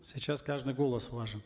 сейчас каждый голос важен